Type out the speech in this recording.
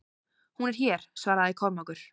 Hún er hér, svaraði Kormákur.